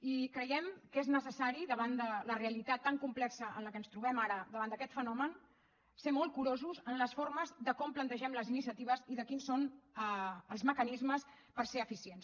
i creiem que és necessari davant de la realitat tan complexa en què ens trobem ara davant d’aquest fenomen ser molt curosos amb les formes de com plantegem les iniciatives i de quins són els mecanismes per ser eficients